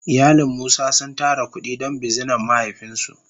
Iyalin musa sun tara kudi don bizinan mahaifin su.